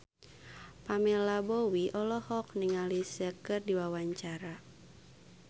Pamela Bowie olohok ningali Sia keur diwawancara